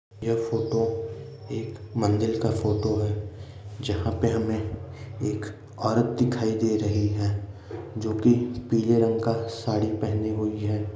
यह फोटो एक मंदिर का फोटो है जहां पे हमें एक औरत दिखाई दे रही है जो कि पीले रंग का साड़ी पहने हुई है।